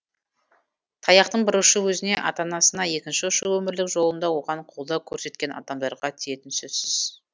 таяқтың бір ұшы өзіне ата анасына екінші ұшы өмірлік жолында оған қолдау көрсеткен адамдарға тиетіні сөзсіз